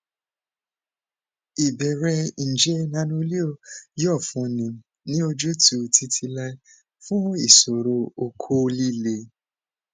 ìbéèrè njẹ nanoleo yoo funni ni ojutu titilai fun iṣoro okó lile